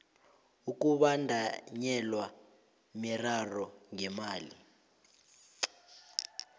ukubandanyelwa miraro ngemali